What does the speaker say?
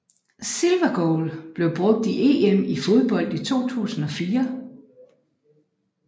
Silver goal blev brugt i EM i fodbold 2004